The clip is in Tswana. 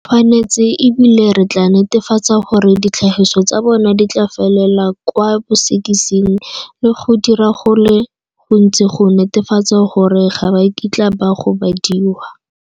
Re tshwanetse, e bile re tla netefatsa gore ditlhagiso tsa bona di tla felela kwa bosekising le go dira go le gontsi go netefatsa gore ga ba kitla ba gobadiwa.